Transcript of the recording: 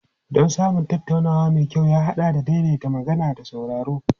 Don samun tattaunawa mai kyau ya haɗa da daidaita magana da sauraro.